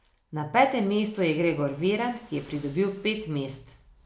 Na petem mestu je Gregor Virant, ki je pridobil pet mest.